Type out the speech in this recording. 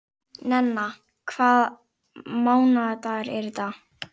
Nenna, hvaða mánaðardagur er í dag?